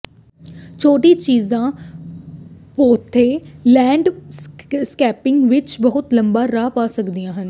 ਛੋਟੀਆਂ ਚੀਜ਼ਾਂ patio landscaping ਵਿੱਚ ਬਹੁਤ ਲੰਮਾ ਰਾਹ ਪਾ ਸਕਦੀਆਂ ਹਨ